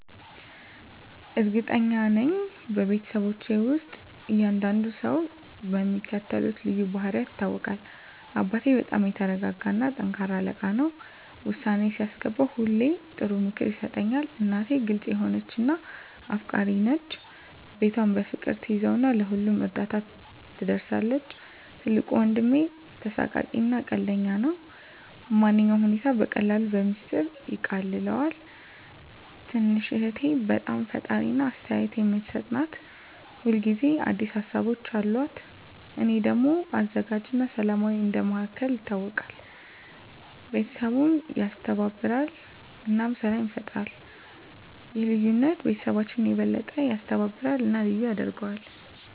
እርግጠኛ ነኝ፤ በቤተሰባችን ውስጥ እያንዳንዱ ሰው በሚከተሉት ልዩ ባህሪያት ይታወቃል - አባቴ በጣም የተረጋጋ እና ጠንካራ አለቃ ነው። ውሳኔ ሲያስገባ ሁሌ ጥሩ ምክር ይሰጣል። **እናቴ** ግልጽ የሆነች እና አፍቃሪች ናት። ቤቷን በፍቅር ትያዘው እና ለሁሉም እርዳታ ትደርሳለች። **ትልቁ ወንድሜ** ተሳሳቂ እና ቀልደኛ ነው። ማንኛውንም ሁኔታ በቀላሉ በሚስጥር ያቃልለዋል። **ትንሹ እህቴ** በጣም ፈጣሪ እና አስተያየት የምትሰጥ ናት። ሁል ጊዜ አዲስ ሀሳቦች አሉት። **እኔ** ደግሞ አዘጋጅ እና ሰላማዊ እንደ መሃከል ይታወቃለሁ። ቤተሰቡን ያስተባብራል እና ሰላም ይፈጥራል። ይህ ልዩነት ቤተሰባችንን የበለጠ ያስተባብራል እና ልዩ ያደርገዋል።